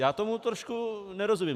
Já tomu trošku nerozumím.